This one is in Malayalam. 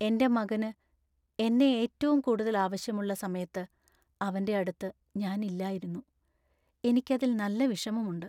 എന്‍റെ മകന് എന്നെ ഏറ്റവും കൂടുതൽ ആവശ്യമുള്ള സമയത്ത് അവന്‍റെയടുത്ത് ഞാൻ ഇല്ലായിരുന്നു, എനിക്ക് അതിൽ നല്ല വിഷമമുണ്ട്.